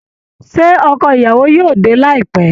Ṣé ọkọ ìyàwó yóò dé láìpẹ́?